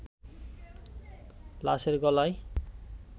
লাশের গলায়